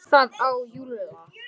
Ég sé það á Lúlla.